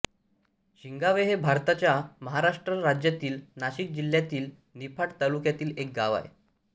शिंगावे हे भारताच्या महाराष्ट्र राज्यातील नाशिक जिल्ह्यातील निफाड तालुक्यातील एक गाव आहे